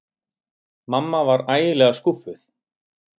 Mamma var ægilega skúffuð.